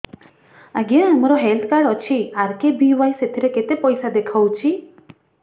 ଆଜ୍ଞା ମୋର health card ଅଛି ଆର୍.କେ.ବି.ୱାଇ ସେଥିରେ କେତେ ପଇସା ଦେଖଉଛି